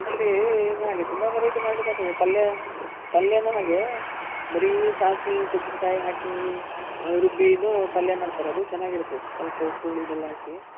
ಇದ್ರಲ್ಲಿ ಏನ್ ತುಂಬ variety ಮಾಡ್ಲಿಕ್ ಆಗ್ತದೆ ಪಲ್ಯ, ಪಲ್ಯನು ಹಾಗೆ ಬರಿ ಸಾಸ್ವೆ, ತೆಂಗಿನ್ಕಾಯಿ ಹಾಕಿ ರುಬ್ಬಿನು ಪಲ್ಯ ಮಾಡ್ತಾರೆ ಅದು ಚೆನಾಗಿರುತ್ತೆ ಸ್ವಲ್ಪ ಉಪ್ಪು, ಹುಳಿ, ಬೆಲ್ಲ ಹಾಕಿ.